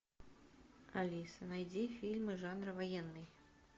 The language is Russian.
алиса найди фильмы жанра военный